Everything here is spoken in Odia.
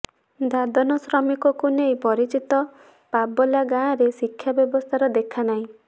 ଦାଦନ ଶ୍ରମିକକୁ ନେଇ ପରିଚିତ ପବଲା ଗାଁରେ ଶିକ୍ଷା ବ୍ୟବସ୍ଥାର ଦେଖା ନାହିଁ